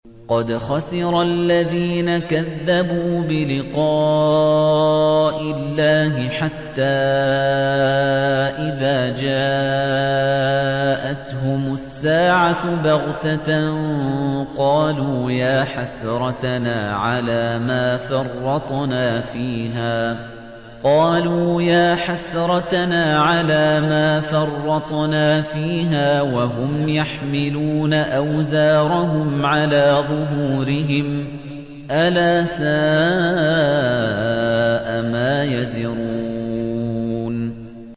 قَدْ خَسِرَ الَّذِينَ كَذَّبُوا بِلِقَاءِ اللَّهِ ۖ حَتَّىٰ إِذَا جَاءَتْهُمُ السَّاعَةُ بَغْتَةً قَالُوا يَا حَسْرَتَنَا عَلَىٰ مَا فَرَّطْنَا فِيهَا وَهُمْ يَحْمِلُونَ أَوْزَارَهُمْ عَلَىٰ ظُهُورِهِمْ ۚ أَلَا سَاءَ مَا يَزِرُونَ